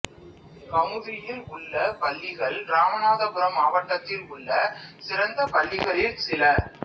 கமுதியில் உள்ள பள்ளிகள் இராமநாதபுரம் மாவட்டத்தில் உள்ள சிறந்த பள்ளிகளில் சில